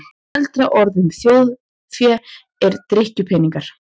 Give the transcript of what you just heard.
Eldra orð um þjórfé er drykkjupeningar.